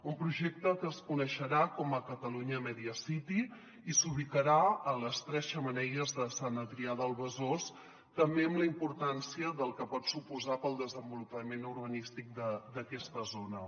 un projecte que es coneixerà com a catalunya media city i s’ubicarà a les tres xemeneies de sant adrià de besòs també amb la importància del que pot su·posar per al desenvolupament urbanístic d’aquesta zona